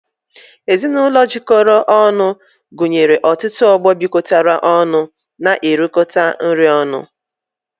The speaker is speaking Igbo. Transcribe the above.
Ezinụlọ jikọrọ ọnụ gụnyere ọtụtụ ọgbọ bịkotara ọnụ n'erikota nri ọnụ